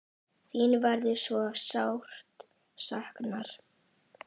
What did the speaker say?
Þín verður svo sárt saknað.